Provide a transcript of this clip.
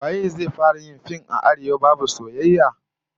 Waye zai fara yin fim a Arewa babu soyayya?